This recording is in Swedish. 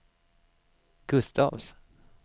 Gustafs